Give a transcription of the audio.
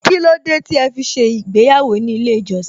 Kílódé tí ẹ fi ṣe ìgbéyàwó ní ilé ìjọsìn?